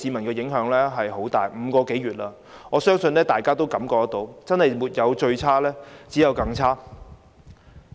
經過這5個多月，我相信大家都感覺到情況真的是"沒有最差，只有更差"。